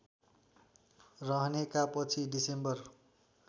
रहनेका पछि डिसेम्बर